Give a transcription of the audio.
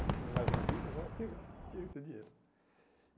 E com mais uma filha, agora tem que gas tinha que ter dinheiro.